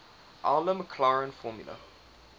euler maclaurin formula